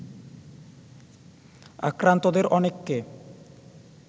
আক্রান্তদের অনেককে